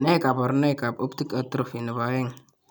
Nee kabarunoikab Optic atrophy nebo aeng'?